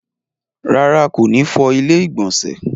Rárá, kò ní fọ ilẹ́ ìgbọ̀nsẹ̀